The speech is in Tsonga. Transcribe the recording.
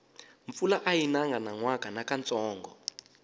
mpfula ayi nanga nyanwaka nakantsongo